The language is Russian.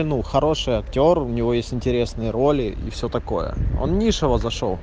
ну хороший актёр у него есть интересные роли и все такое он низшего зашёл